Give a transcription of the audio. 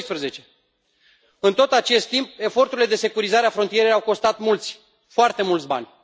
2012. În tot acest timp, eforturile de securizare a frontierei au costat mulți, foarte mulți bani.